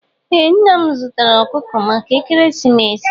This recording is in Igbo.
Ee nna m zụtara ọkụkọ maka ekeresimesi.